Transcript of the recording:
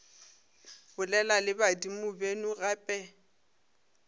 bolela le badimo beno gape